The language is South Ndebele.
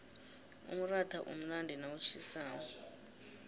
umratha umnandi nawutjhisako